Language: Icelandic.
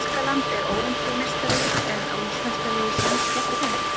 Þýskaland er Ólympíumeistari en á íslenska liðið séns gegn þeim?